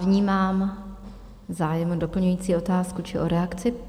Vnímám zájem o doplňující otázku či o reakci.